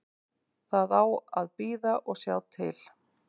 Það á að bíða og sjá til.